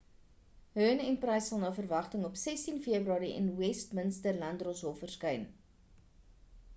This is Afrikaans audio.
huhne en pryce sal na verwagting op 16 februarie in die westminster-landdroshof verskyn